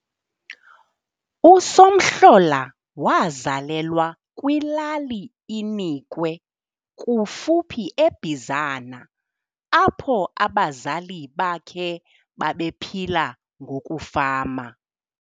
USomhlola wazalelwa kwiLali iNikwe kufuphi eBizana apho abazali bakhe babephila ngokufama.